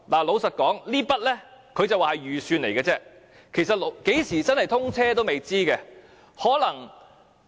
老實說，他說這筆費用只是預算，其實何時正式通車也是未知之數。